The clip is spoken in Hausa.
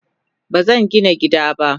Bazangina gida ba.